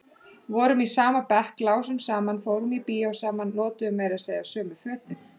Vorum í sama bekk, lásum saman, fórum í bíó saman, notuðum meira segja sömu fötin.